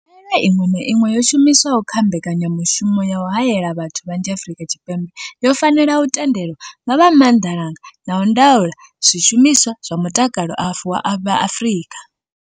Khaelo iṅwe na iṅwe yo shumiswaho kha mbekanyamushumo ya u haela vhathu vhanzhi Afrika Tshipembe yo fanela u tendelwa nga vha Maanḓalanga a Ndaulo ya Zwishumiswa zwa Mutakalo vha Afrika.